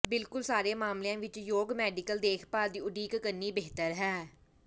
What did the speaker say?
ਬਿਲਕੁਲ ਸਾਰੇ ਮਾਮਲਿਆਂ ਵਿਚ ਯੋਗ ਮੈਡੀਕਲ ਦੇਖਭਾਲ ਦੀ ਉਡੀਕ ਕਰਨੀ ਬਿਹਤਰ ਹੈ